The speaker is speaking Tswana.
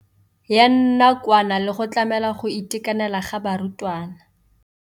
Ya nakwana le go tlamela go itekanela ga barutwana.